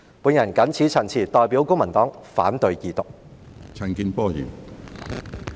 我謹此陳辭，代表公民黨反對二讀。